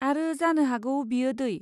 आरो जानो हागौ बेयो दै?